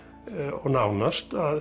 og nánast að